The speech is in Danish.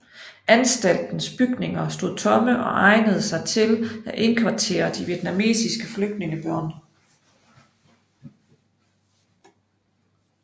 Anstaltens bygninger stod tomme og egnede sig til at indkvartere de vietnamesiske flygtningebørn